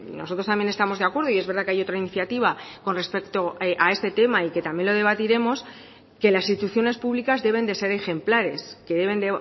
nosotros también estamos de acuerdo y es verdad que hay otra iniciativa con respecto a este tema y que también lo debatiremos que las instituciones públicas deben de ser ejemplares que deben